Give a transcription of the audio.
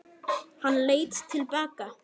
Hann leit til baka.